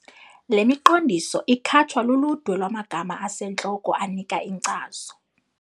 Le miqondiso ikhatshwa luludwe lwamagama asentloko anika inkcazo.